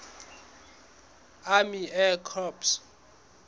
army air corps